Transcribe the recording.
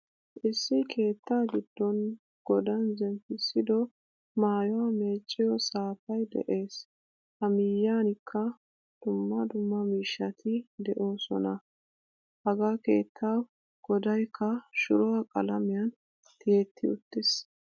Issi keetta giddon godan zemppisido maayuwaa meeciyo saapay de'ees. Ha miyiyankka dumma dumma miishshati deosona. Ha gkeettawu godaykka shuruwaa qalamiyan tiyetti uttiis.